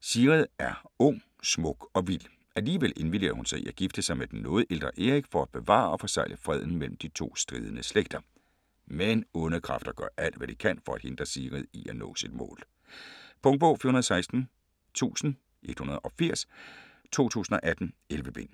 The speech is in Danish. Sigrid er ung, smuk og vild. Alligevel indvilliger hun i at gifte sig med den noget ældre Erik for at bevare og forsegle freden mellem de to stridende slægter. Men onde kræfter gør alt, hvad de kan for at hindre Sigrid i at nå sit mål. Punktbog 416180 2018. 11 bind.